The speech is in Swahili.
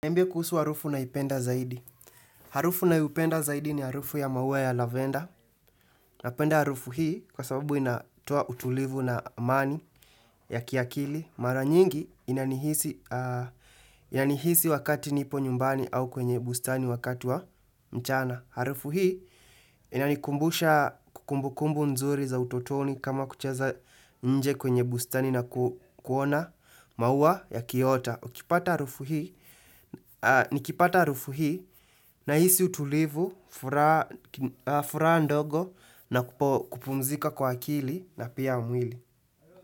Mbio kuhusu harufu naipenda zaidi. Harufu nayoipenda zaidi ni harufu ya maua ya lavenda. Napenda harufu hii kwa sababu inatoa utulivu na amani ya kiakili. Mara nyingi inanihisi wakati nipo nyumbani au kwenye bustani wakati wa mchana. Harufu hii inanikumbusha kumbukumbu nzuri za utotoni kama kucheza nje kwenye bustani na kuona maua yakiota. Nikipata harufu hii nahisi utulivu, furaha ndogo na kupumzika kwa akili na pia mwili.